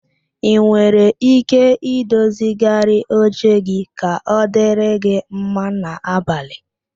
Ị nwere ike i dozigharị oche gi ka ọ dịrị gị mma n'abalị